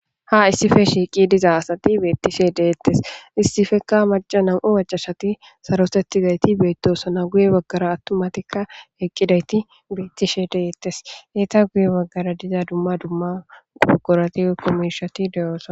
Ha issife shiiqi diza asati beettishe de7etes.issifekka na nam7u macca nayti sarotettidayti beettosona. Guye baggara attuma nayti eqqidayti beettishe de7ettes. Etape guye baggara diza dumma dumma buqurati woykko miishati de7oosona.